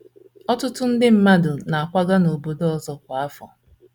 ỌTỤTỤ nde mmadụ na - akwaga n’obodo ọzọ kwa afọ.